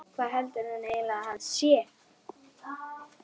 Hvað heldur hún eiginlega að hann sé!